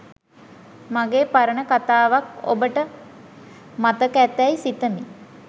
මගේ පරණ කතාවක් ඔබට මතක ඇතැයි සිත‍මි